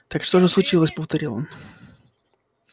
так что же случилось повторил он